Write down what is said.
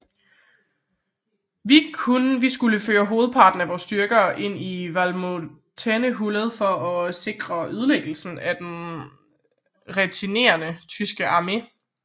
Vi skulle føre hovedparten af vor styrke ind i Valmontone hullet for at sikre ødelæggelsen af den retirerende tyske armé